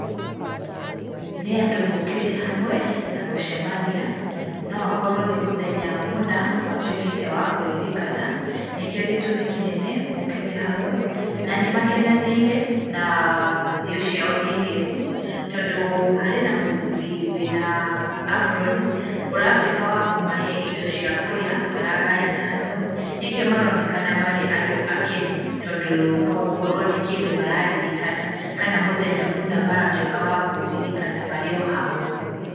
Nĩ andũ mokĩte hamwe na gũcemania, no akorwo nĩ mũthenya mũna matwĩkĩte wa kũririkana, nĩkĩo gĩtũmi kĩnene mokĩte hamwe. Na nĩ makenanĩire na thiũ ciao nĩ ngengu tondũ harĩ na mũthuri wĩna aburoni ũratwĩka wa kũmahe indo cia kũrĩa maragayana hamwe nĩkĩo maronekana marĩ andũ akenu, tondũ no gũkorwo nĩ kĩndũ mararirikana kana mũthenya maratwĩka a kũũririkana marĩ o hamwe.